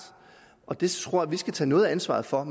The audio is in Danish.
og det tror jeg at vi skal tage noget af ansvaret for at